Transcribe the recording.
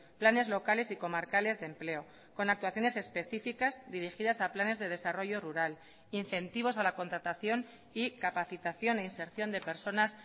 planes locales y comarcales de empleo con actuaciones especificas dirigidas a planes de desarrollo rural incentivos a la contratación y capacitación e inserción de personas